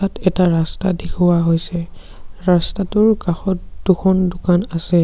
ইয়াত এটা ৰাস্তা দেখুওৱা হৈছে।